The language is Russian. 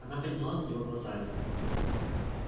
она подняла на него глаза